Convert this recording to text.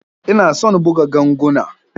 Ina son buga ganguna.